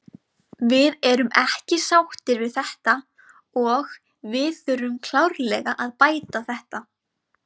Við erum ekki sáttir við þetta og við þurfum klárlega að bæta þetta.